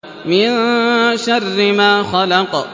مِن شَرِّ مَا خَلَقَ